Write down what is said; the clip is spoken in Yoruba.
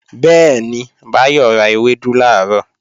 Bẹ́ẹ̀ni, Báyọ̀ ra ewédú làárọ̀